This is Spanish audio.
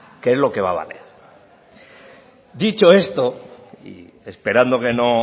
que es lo que va a valer dicho esto y esperando que no